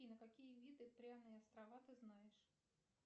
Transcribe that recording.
какие виды пряные острова ты знаешь